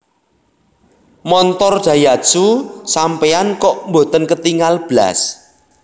Montor Daihatsu sampean kok mboten ketingal blas?